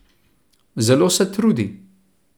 Zelo se trudi.